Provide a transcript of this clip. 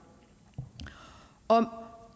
om